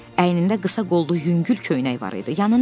Əynində qısa qollu yüngül köynək var idi.